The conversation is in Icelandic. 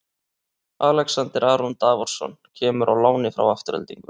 Alexander Aron Davorsson kemur á láni frá Aftureldingu.